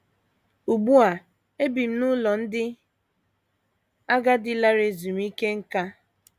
Ugbu a ebi m n’ụlọ ndị agadi lara ezumike nká.